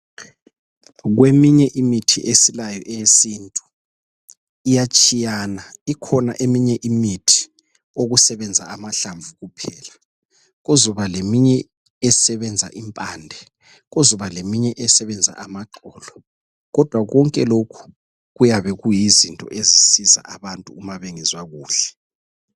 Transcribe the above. Kweminye imithi esilayo eyesintu iyatshiyana ikhona eminye imithi okusebenza amahlamvu kuphela kuzoba leminye esebenza impande kuzoba leminye esebenza amaxolo kodwa konke lokhu kutabe kuyizinto ezisiza abantu ma bengezwa kuhle